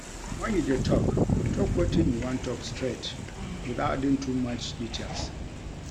When you dey talk, talk wetin you wan talk straight without adding too much details